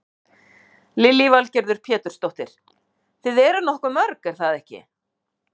Lillý Valgerður Pétursdóttir: Þið eruð nokkuð mörg er það ekki?